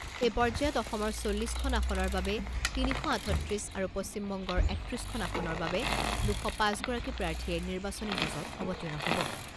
এই পৰ্যায়ত অসমৰ চল্লিছখন আসনৰ বাবে তিনি শ আঠত্ৰিছ আৰু পশ্চিমবংগৰ একত্ৰিছ খন আসনৰ বাবে দুশ পাঁচ গৰাকী প্ৰাৰ্থীয়ে নিৰ্বাচনী যুঁজত অৱতীৰ্ণ হ'ব।